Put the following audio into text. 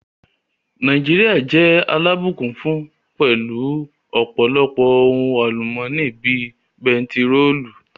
Nàìjíríà jẹ́ alábùkún fún pẹ̀lú u ọ̀pọ̀lọpọ̀ ohun àlùmọ́nì bíi bentiróòlù